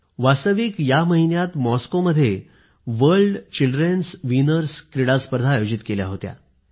वास्तविक या महिन्यात मॉस्कोमध्ये वर्ल्ड चिल्ड्रन विनर्स क्रीडा स्पर्धा आयोजित केल्या होत्या